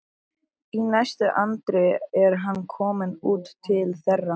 Í næstu andrá er hann kominn út til þeirra.